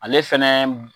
Ale fɛnɛ